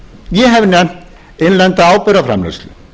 ég hef nefnt innlenda áburðarframleiðslu